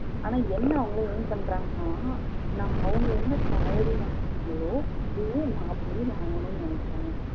ஆனா என்ன அவங்க aim பண்றங்கனா அவங்க என்ன salary வாங்குறங்களோ அதே மாப்பிளையும் வாங்கனும்னு நினைக்கிறாங்க